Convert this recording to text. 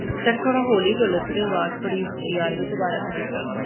sir ਥੋੜਾ ਹੌਲੀ ਬੋਲੋ ਤੁਹਾਡੀ ਅਵਾਜ ਬੜੀ ਉੱਚੀ ਆ ਰਹੀ ਏ ਥੋੜਾ ਹੋਲੀ ਬੋਲੋ